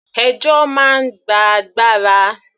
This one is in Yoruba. Ẹjọ́ máa ń gba agbára.